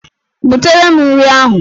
Butere m nri ahụ!